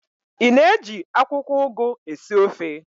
Ị na-eji akwụkwọụgụ esi ofe?